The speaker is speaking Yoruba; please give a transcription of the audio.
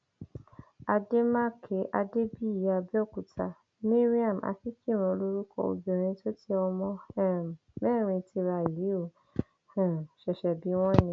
àdèmàkè adébíyí àbẹòkúta mariam akínkíràn lorúkọ obìnrin tó tẹ ọmọ um mẹrin tira yìí ò um ṣẹṣẹ bí wọn ni